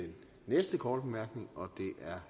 venstre